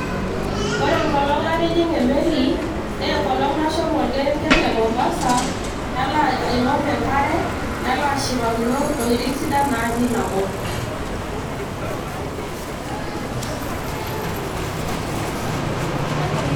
ore enkolong' natijing'a emeli naa enkolong nashomo orkerenket le mombasa, nalo aing'or enkare, nalo ashipakino, intokitin sidan natii ina kop.